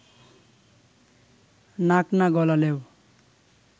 নাক না গলালেও